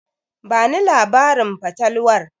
Bani labarin fatalwar.